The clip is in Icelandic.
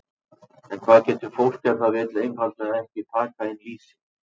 En hvað getur fólk ef það vill einfaldlega ekki taka inn lýsi?